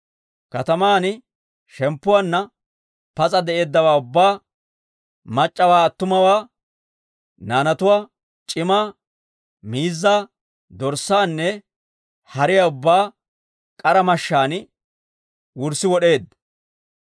Kataman shemppuwaanna pas'a de'eeddawaa ubbaa, mac'c'awaa attumawaa, naanatuwaa c'imaa, miizzaa, dorssaanne hariyaa ubbaa k'ara mashshaan wurssi wod'eedda.